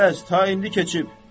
Gərəz ta indi keçib.